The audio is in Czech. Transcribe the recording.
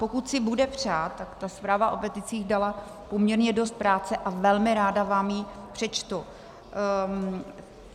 Pokud si bude přát, tak ta zpráva o peticích dala poměrně dost práce a velmi ráda vám ji přečtu.